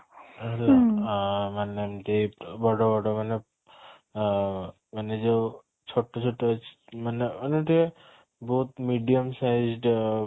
ଆଁ ମାନେ ଏମିତି ବଡ ବଡ ମାନେ ଆଁ ମାନେ ଯୋଉ ଛୋଟ ଛୋଟ ଅଛି ମାନେ ମାନେ ଟିକେ ବହୁତ medium size ଟା ପୁରା